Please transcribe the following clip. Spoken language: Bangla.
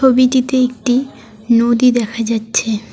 ছবিটিতে একটি নদী দেখা যাচ্ছে।